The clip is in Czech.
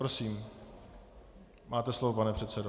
Prosím, máte slovo, pane předsedo.